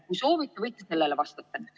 Kui soovite, võite sellele vastata.